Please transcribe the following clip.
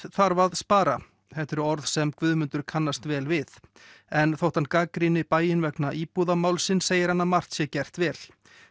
þarf að spara þetta eru orð sem Guðmundur kannast vel við en þótt hann gagnrýni bæinn vegna segir hann að margt sé gert vel